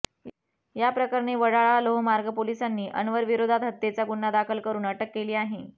या प्रकरणी वडाळा लोहमार्ग पोलिसांनी अनवरविरोधात हत्येचा गुन्हा दाखल करुन अटक केली आहे